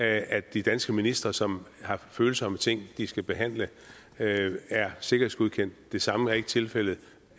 at de danske ministre som har følsomme ting de skal behandle er sikkerhedsgodkendt det samme er ikke tilfældet